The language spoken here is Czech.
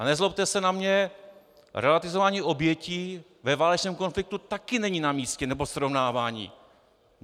A nezlobte se na mě, relativizování obětí ve válečném konfliktu taky není na místě, nebo srovnávání.